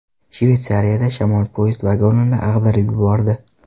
Shveysariyada shamol poyezd vagonini ag‘darib yubordi .